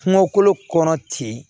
Kungo kolo kɔnɔ ten